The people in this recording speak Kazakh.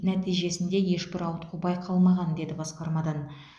нәтижесінде ешбір ауытқу байқалмаған деді басқармадан